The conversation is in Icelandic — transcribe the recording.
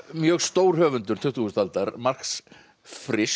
mjög stór höfundur tuttugustu aldar Marx